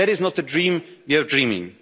Union there is not a dream you're